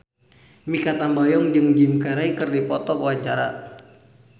Mikha Tambayong jeung Jim Carey keur dipoto ku wartawan